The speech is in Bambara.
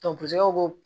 ko